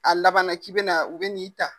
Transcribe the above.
A laban na k'i bɛna u bɛ n'i ta.